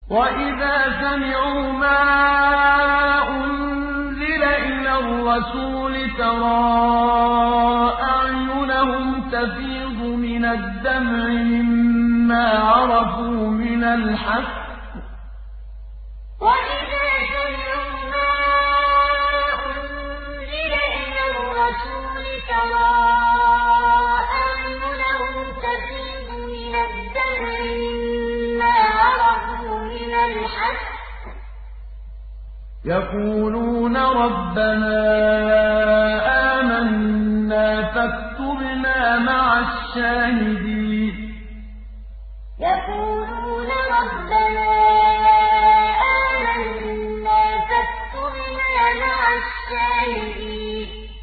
وَإِذَا سَمِعُوا مَا أُنزِلَ إِلَى الرَّسُولِ تَرَىٰ أَعْيُنَهُمْ تَفِيضُ مِنَ الدَّمْعِ مِمَّا عَرَفُوا مِنَ الْحَقِّ ۖ يَقُولُونَ رَبَّنَا آمَنَّا فَاكْتُبْنَا مَعَ الشَّاهِدِينَ وَإِذَا سَمِعُوا مَا أُنزِلَ إِلَى الرَّسُولِ تَرَىٰ أَعْيُنَهُمْ تَفِيضُ مِنَ الدَّمْعِ مِمَّا عَرَفُوا مِنَ الْحَقِّ ۖ يَقُولُونَ رَبَّنَا آمَنَّا فَاكْتُبْنَا مَعَ الشَّاهِدِينَ